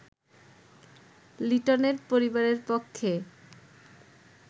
লিটনের পরিবারের পক্ষে